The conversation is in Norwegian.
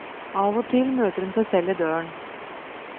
Av og til møter hun seg selv i døren.